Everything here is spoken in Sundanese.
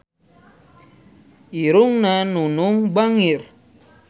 Irungna Nunung bangir